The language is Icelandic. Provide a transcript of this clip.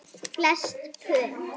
Flest pör